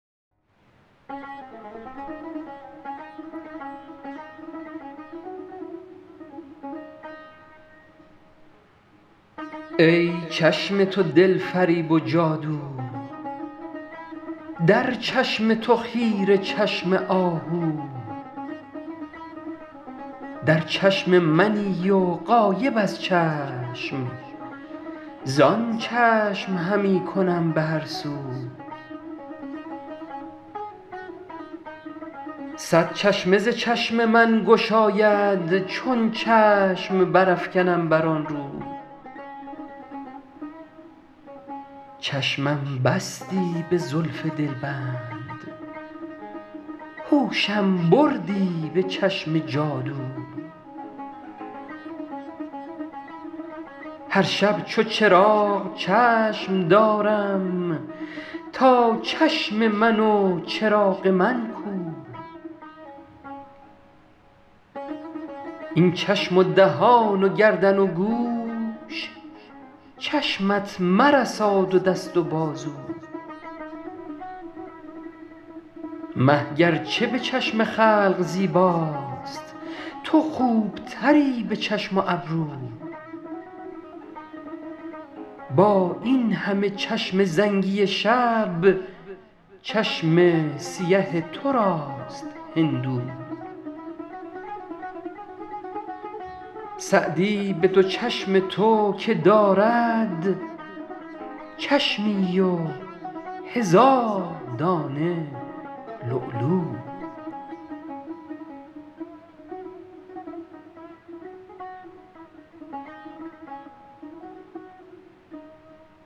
ای چشم تو دل فریب و جادو در چشم تو خیره چشم آهو در چشم منی و غایب از چشم زآن چشم همی کنم به هر سو صد چشمه ز چشم من گشاید چون چشم برافکنم بر آن رو چشمم بستی به زلف دلبند هوشم بردی به چشم جادو هر شب چو چراغ چشم دارم تا چشم من و چراغ من کو این چشم و دهان و گردن و گوش چشمت مرساد و دست و بازو مه گر چه به چشم خلق زیباست تو خوب تری به چشم و ابرو با این همه چشم زنگی شب چشم سیه تو راست هندو سعدی به دو چشم تو که دارد چشمی و هزار دانه لولو